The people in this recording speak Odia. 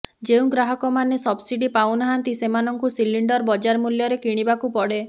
ଯେଉଁ ଗ୍ରାହକମାନେ ସବସିଡି ପାଉନାହାନ୍ତି ସେମାନଙ୍କୁ ସିଲିଣ୍ଡର ବଜାର ମୂଲ୍ୟରେ କିଣିବାକୁ ପଡେ